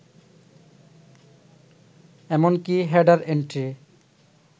এমনকি header entry